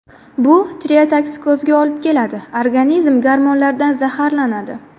Bu tireotoksikozga olib keladi – organizm gormonlardan zaharlanadi.